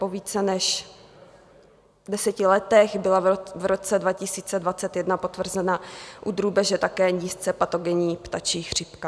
Po více než deseti letech byla v roce 2021 potvrzena u drůbeže také nízce patogenní ptačí chřipka.